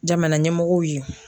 Jamana ɲɛmɔgɔw ye.